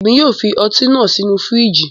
Emi yóò fi ọti naa sinu firiji